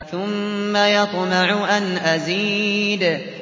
ثُمَّ يَطْمَعُ أَنْ أَزِيدَ